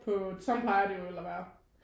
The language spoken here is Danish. På sådan plejer det vel at være